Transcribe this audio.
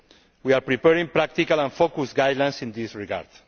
We are preparing practical and focused guidelines in this regard.